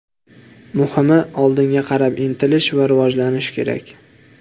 Muhimi oldinga qarab intilish va rivojlanish kerak.